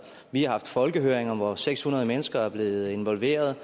vi har haft folkehøringer hvor seks hundrede mennesker er blevet involveret